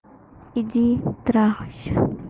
иди трахайся